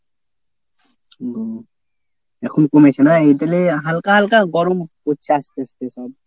হুম। এখন কমেছে না? এ তালে হালকা হালকা গরম পড়ছে আস্তে আস্তে সব।